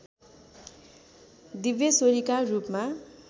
दिव्यश्वरीका रूपमा